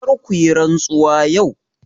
Kar ku yi rantsuwa yau!